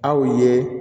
Aw ye